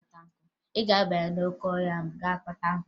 Ị ga-aba n'oke ọhịa ga-kpata nkụ!